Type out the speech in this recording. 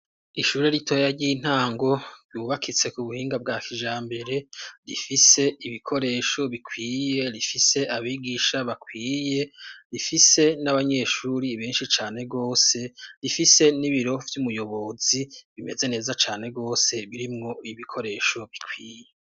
Ishuri ritoya ry'intango yubakitse ku buhinga bwa kija mbere rifise ibikoresho bikwiye rifise abigisha bakwiye rifise n'abanyeshuri binshi cane rwose rifise n'ibiro vy'umuyobozi bimeze neza cane rwose birimwo ibikoresho bikwiye.